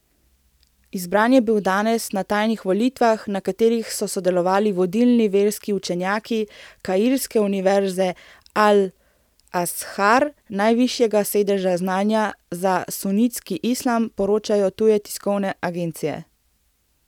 Izbran je bil danes na tajnih volitvah, na katerih so sodelovali vodilni verski učenjaki kairske univerze Al Azhar, najvišjega sedeža znanja za sunitski islam, poročajo tuje tiskovne agencije.